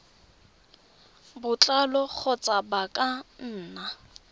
botlalo kgotsa ba ka nna